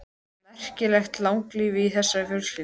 Það er merkilegt langlífi í þessari fjölskyldu.